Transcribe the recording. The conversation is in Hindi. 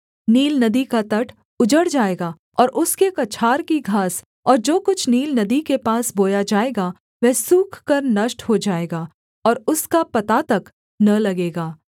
नील नदी का तट उजड़ जाएगा और उसके कछार की घास और जो कुछ नील नदी के पास बोया जाएगा वह सूख कर नष्ट हो जाएगा और उसका पता तक न लगेगा